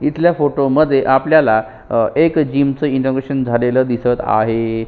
इथल्या फोटोमध्ये आपल्याला एका जिम च इनोवेशन झालेल दिसत आहे.